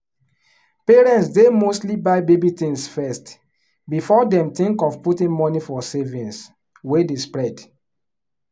parents dey mostly buy baby things first before dem think of putting money for savings wey dey spread